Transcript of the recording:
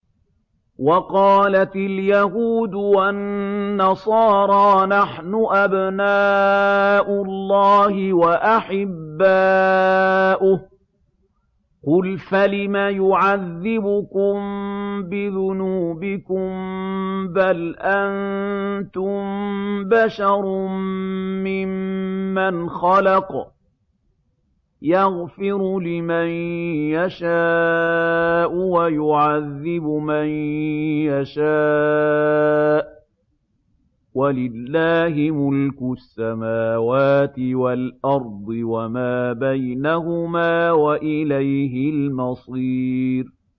وَقَالَتِ الْيَهُودُ وَالنَّصَارَىٰ نَحْنُ أَبْنَاءُ اللَّهِ وَأَحِبَّاؤُهُ ۚ قُلْ فَلِمَ يُعَذِّبُكُم بِذُنُوبِكُم ۖ بَلْ أَنتُم بَشَرٌ مِّمَّنْ خَلَقَ ۚ يَغْفِرُ لِمَن يَشَاءُ وَيُعَذِّبُ مَن يَشَاءُ ۚ وَلِلَّهِ مُلْكُ السَّمَاوَاتِ وَالْأَرْضِ وَمَا بَيْنَهُمَا ۖ وَإِلَيْهِ الْمَصِيرُ